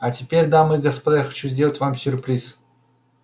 а теперь дамы и господа я хочу сделать вам сюрприз